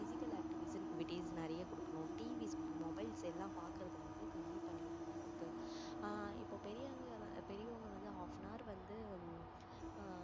physical activition activities நிறைய குடுக்கணும் TV mobiles எல்லாம் பாக்குறது வந்து கம்மி பண்ணிடணும் அவங்களுக்கு ஆஹ் இப்போ பெரியவங்க வந்து half an hour வந்து